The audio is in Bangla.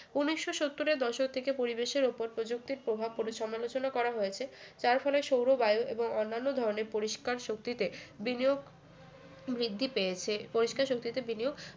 উন্নিশশো সত্তর এর দশক থেকে পরিবেশের উপর প্রযুক্তির প্রভাব পড়ে সমালোচনা করা হয়েছে যার ফলে সৌর বায়ু এবং অন্যান্য ধরনের পরিষ্কার শক্তিতে বিনিয়োগ বৃদ্ধি পেয়েছে পরিষ্কার শক্তিতে বিনিয়োগ